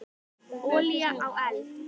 Olía á eld.